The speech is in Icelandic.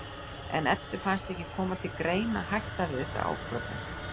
En Eddu fannst ekki koma til greina að hætta við þessa ákvörðun.